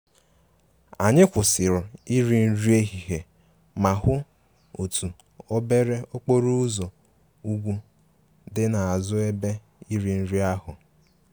Anyị kwụsịrị iri nri ehihie ma hụ otu obere okporo ụzọ ugwu dị n'azụ ebe iri nri ahụ